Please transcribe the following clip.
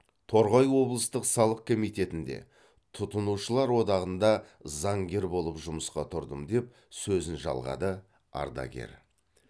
торғай облыстық салық комитетінде тұтынушылар одағында заңгер болып жұмысқа тұрдым деп сөзін жалғады ардагер